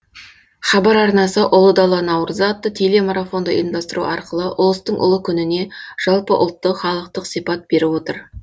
хабар арнасы ұлы дала наурызы атты телемарафонды ұйымдастыру арқылы ұлыстың ұлы күніне жалпыұлттық халықтық сипат беріп отыр